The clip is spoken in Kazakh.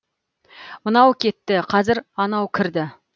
мынау кетті қазір анау кірді